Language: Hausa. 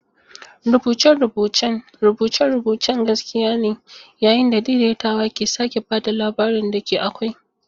Rubuce-rubucen rubuce-rubucen gaskiya ne, yayin da daidaitawa ke sake ba da labarin da ke akwai.